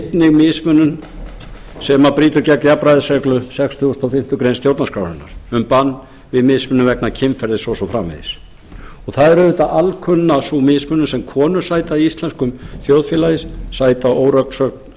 einnig mismunun sem brýtur gegn jafnræðisreglu sextugustu og fimmtu grein stjórnarskrárinnar um bann við mismunun vegna kynferðis og svo framvegis það er auðvitað alkunna sú mismunun sem konur sæta í íslensku þjóðfélagi þær